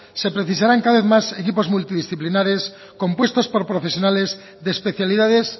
se precisarán cada vez más equipos multidisciplinares compuestos por profesionales de especialidades